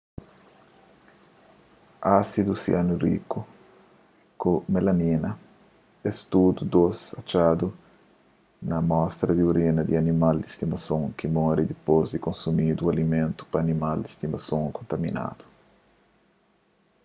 ásidu sianúriku ku melamina es tudu dôs atxadu na amostra di orina di animal di stimason ki móre dipôs di konsumi alimentu pa animal di stimason kontaminadu